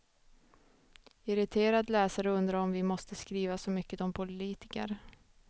Irriterad läsare undrar om vi måste skriva så mycket om politiker.